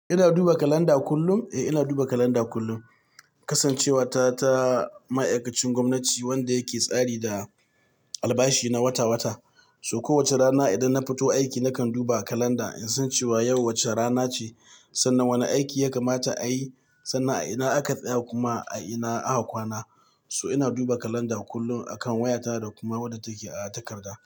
Ina duba kalanda kullum? Eh ina duba kalanda kullum. Kasancewa ta ta ma'aikacin gwamnati wanda yake tsari da albashi na wata wata. So kowace rana idan na fito aiki nakan duba kalanda in san cewa yau wace rana ce sannan wane aiki ya kamata a yi sannan a ina aka tsaya kuma a ina aka kwana. So ina duba kalanda kullum akan wayata da kuma wadda take a takarda.